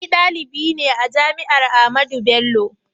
Ni dalibi ne a jami'ar Ahmadu Bello.